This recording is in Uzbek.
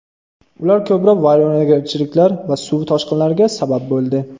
Ular ko‘plab vayronagarchiliklar va suv toshqinlariga sabab bo‘ldi.